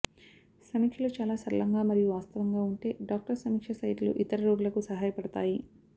సమీక్షలు చాలా సరళంగా మరియు వాస్తవంగా ఉంటే డాక్టర్ సమీక్ష సైట్లు ఇతర రోగులకు సహాయపడతాయి